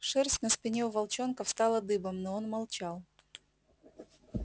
шерсть на спине у волчонка встала дыбом но он молчал